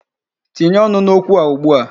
Tinye ọnụ n'okwu a ugbu a.